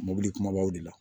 Mobili kumabaw de la